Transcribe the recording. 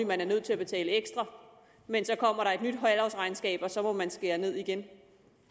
man er nødt til at betale ekstra men så kommer der et nyt halvårsregnskab og så må man skære ned igen